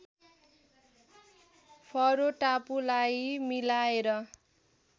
furrow टापुलाई मिलाएर